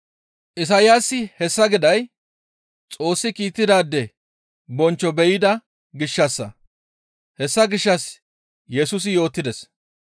Isayaasi hessa giday Xoossi kiittidaade bonchcho be7ida gishshassa; hessa gishshas Yesusi yootides.